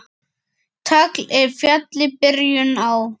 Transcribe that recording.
Tagl er fjalli byrjun á.